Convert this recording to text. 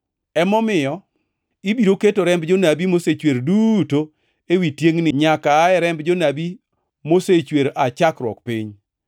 Emomiyo ibiro keto remb jonabi mosechwer duto ewi tiengʼni nyaka aa remb jonabi mosechwer aa chakruok piny.